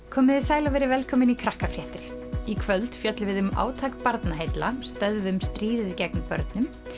komiði sæl og verið velkomin í í kvöld fjöllum við um átak Barnaheilla stöðvum stríðið gegn börnum